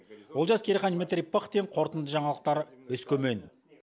олжас керейхан дмитрий пыхтин қорытынды жаңалықтар өскемен